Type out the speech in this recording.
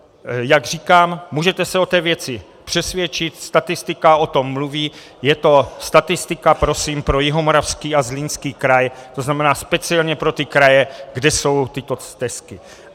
Jak říkám, můžete se o té věci přesvědčit, statistika o tom mluví, je to statistika prosím pro Jihomoravský a Zlínský kraj, to znamená speciálně pro ty kraje, kde jsou tyto stezky.